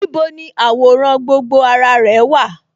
Níbo ni àwòrán gbogbo ara rẹ̀ wà?